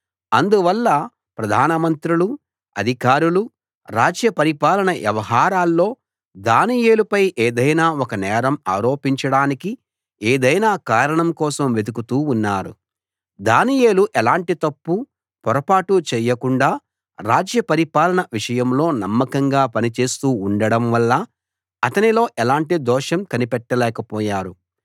అందువల్ల ప్రధానమంత్రులు అధికారులు రాజ్య పరిపాలన వ్యవహారాల్లో దానియేలుపై ఏదైనా ఒక నేరం ఆరోపించడానికి ఏదైనా కారణం కోసం వెదుకుతూ ఉన్నారు దానియేలు ఎలాంటి తప్పు పొరపాటు చేయకుండా రాజ్య పరిపాలన విషయంలో నమ్మకంగా పనిచేస్తూ ఉండడంవల్ల అతనిలో ఎలాంటి దోషం కనిపెట్టలేకపోయారు